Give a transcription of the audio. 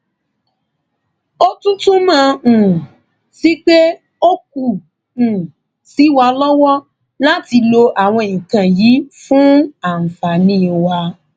ó tún túmọ um sí pé ó kù um sí wa lọwọ láti lo àwọn nǹkan yìí fún àǹfààní wa